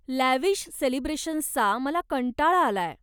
Lavish सेलिब्रेशन्सचा मला कंटाळा आलाय.